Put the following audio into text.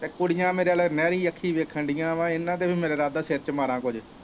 ਤੇ ਕੁੜੀਆ ਮੇਰੇ ਵੱਲ ਮੈਲੀ ਅੱਖੀ ਵੇਖਣ ਦੀਆ ਵਾ ਇੰਨਾ ਦਾ ਵੀ ਮੇਰਾ ਇਰਾਦਾ ਸਿਰ ਚ ਮਾਰਾ ਕੁੱਝ।